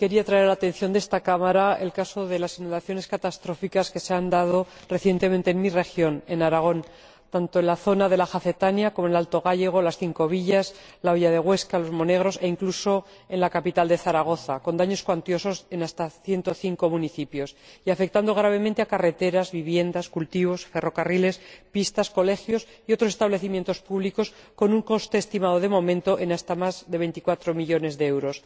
quería traer a la atención de esta Cámara el caso de las inundaciones catastróficas que se han producido recientemente en mi región, Aragón, tanto en la zona de la Jacetania como en el Alto Gállego, las Cinco Villas, la Hoya de Huesca, Los Monegros e, incluso, en la capital, Zaragoza, con daños cuantiosos en hasta ciento cinco municipios, y que han afectado gravemente a carreteras, viviendas, cultivos, ferrocarriles, pistas, colegios y otros establecimientos públicos, con un coste estimado, de momento, de más de veinticuatro millones de euros.